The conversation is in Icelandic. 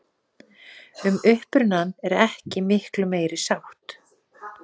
Um upprunann er ekki miklu meiri sátt.